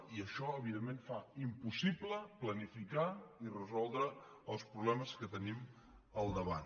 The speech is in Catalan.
i això evidentment fa impossible planificar i resoldre els problemes que tenim al davant